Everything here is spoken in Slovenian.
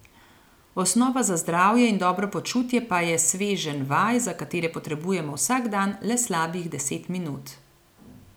Osnova za zdravje in dobro počutje pa je sveženj vaj, za katere potrebujemo vsak dan le slabih deset minut.